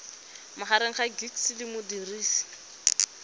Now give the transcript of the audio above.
magareng ga gcis le modirisi